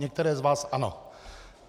Některé z vás ano.